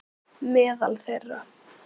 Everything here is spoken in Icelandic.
Meðal þeirra